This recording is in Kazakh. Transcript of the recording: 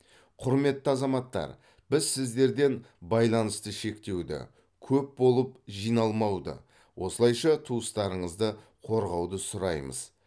құрметті азаматтар біз сіздерден байланысты шектеуді көп болып жиналмауды осылайша туыстарыңызды қорғауды сұраймыз